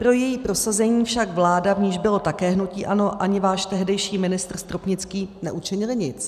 Pro její prosazení však vláda, v níž bylo také hnutí ANO, ani váš tehdejší ministr Stropnický neučinili nic.